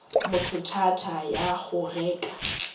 motho thata ya go reka